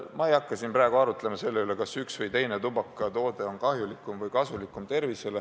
Ma ei hakka siin praegu arutlema selle üle, kas üks või teine tubakatoode on tervisele kahjulikum või kasulikum.